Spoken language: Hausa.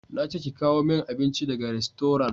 Na ce ki kawo min abinci daga rastoran!